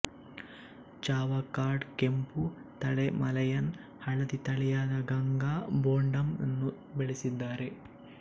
ಚಾವಕ್ಕಾಡ್ ಕೆಂಪು ತಳೆ ಮಲಯನ್ ಹಳದಿ ತಳಿಯಾದ ಗಂಗಾ ಬೊಂಡಮ್ ನ್ನು ಬೆಳೆಸಿದ್ದಾರೆ